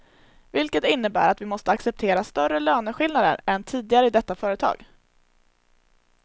Vilket innebär att vi måste acceptera större löneskillnader än tidigare i detta företag.